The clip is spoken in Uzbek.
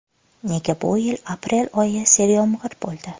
Nega bu yil aprel oyi seryomg‘ir bo‘ldi?